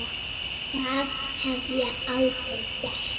Það hef ég aldrei gert.